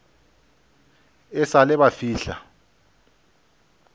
e sa le ba fihla